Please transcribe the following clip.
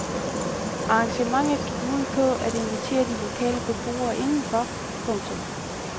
Arrangementet gik ud på at invitere de lokale beboere indenfor. punktum